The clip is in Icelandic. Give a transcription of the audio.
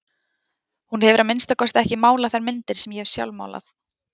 Hún hefur að minnsta kosti ekki málað þær myndir sem ég hef sjálf málað.